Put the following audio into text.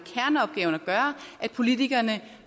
gøre at politikerne